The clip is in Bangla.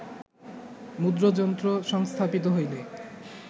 মুদ্রাযন্ত্র সংস্থাপিত হইলে